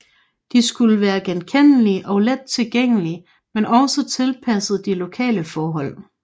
De skulle være genkendelige og let tilgængelige men også tilpasset de lokale forhold